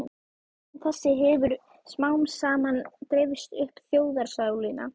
Hugmynd þessi hefir smámsaman dreifst um þjóðarsálina